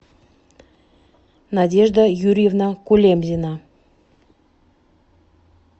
надежда юрьевна кулемзина